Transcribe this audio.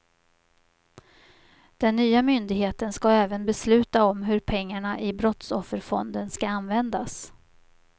Den nya myndigheten ska även besluta om hur pengarna i brottsofferfonden ska användas.